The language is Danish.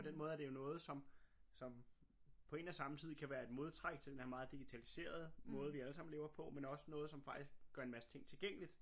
På den måde er det jo noget som som på én og samme tid kan være et modtræk til den der meget digitaliserede måde vi allesammen lever på men også noget som faktisk gør en masse ting tilgængeligt